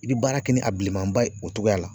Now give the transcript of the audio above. I bi baara kɛ ni a bilemanba ye, o togoya la.